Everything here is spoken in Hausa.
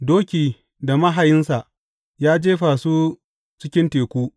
Doki da mahayinsa ya jefa su cikin teku.